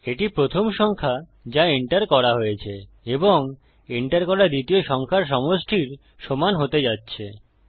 এটি প্রথম সংখ্যা যা এন্টার করা হয়েছে এবং এন্টার করা দ্বিতীয় সংখ্যার সমষ্টির সমান হতে যাচ্ছে